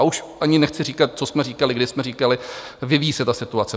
A už ani nechci říkat, co jsme říkali, když jsme říkali vyvíjí se ta situace.